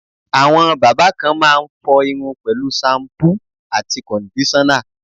Àwọn bábà kan máa ń fọ irun pẹ̀lú ṣampú àti kọ̀ndíṣọ́nà.